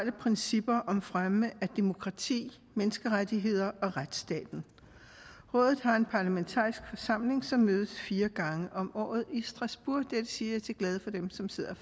principper om fremme af demokrati menneskerettigheder og retsstaten rådet har en parlamentarisk forsamling som mødes fire gange om året i strasbourg det siger jeg til glæde for dem som sidder